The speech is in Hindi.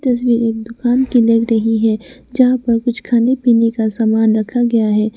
तस्वीर एक दुकान की लग रही है जहां पर कुछ खाने पीने का सामान रखा गया है।